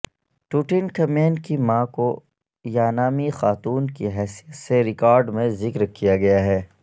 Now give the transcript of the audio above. Tutankhamun کی ماں Kiya نامی خاتون کی حیثیت سے ریکارڈ میں ذکر کیا گیا ہے